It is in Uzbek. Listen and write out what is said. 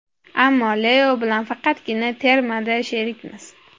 Ammo Leo bilan faqatgina termada sherikmiz.